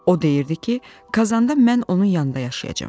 O deyirdi ki, Kazanda mən onun yanında yaşayacağam.